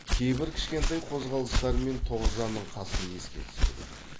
кейбір кішкентай қозғалыстарымен тоғжанның қасын еске түсірген